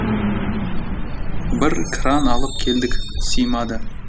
бір кран алып келдік симады